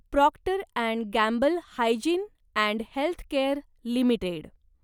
Procter and Gamble Hygiene and Health Care limited